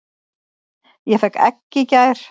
Ég fékk egg í gær.